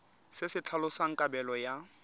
se se tlhalosang kabelo ya